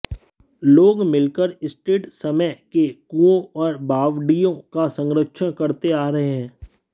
लोग मिलकर स्टेट समय के कुओं और बावडिय़ों का संरक्षण करते आ रहे हैं